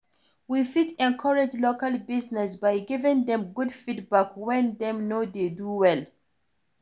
We fit encourage local business by giving dem good feedback when dem no dey do well